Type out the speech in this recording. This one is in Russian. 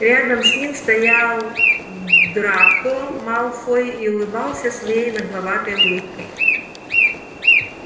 рядом с ним стоял драко малфой и улыбался своей нагловатой улыбкой